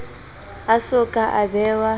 a so ka a bewa